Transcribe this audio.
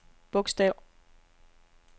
bogstav